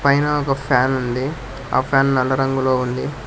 పైన ఒక ఫ్యాన్ ఉంది ఆ ఫ్యాన్ నల్ల రంగులో ఉంది.